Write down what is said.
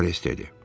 Rivaris dedi.